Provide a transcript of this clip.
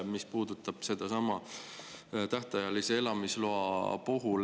Küsimus puudutab sedasama tähtajalist elamisluba.